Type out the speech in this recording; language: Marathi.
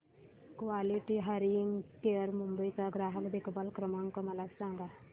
क्वालिटी हियरिंग केअर मुंबई चा ग्राहक देखभाल क्रमांक मला सांगा